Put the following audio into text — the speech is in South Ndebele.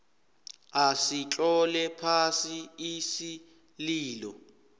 asitlole phasi isililo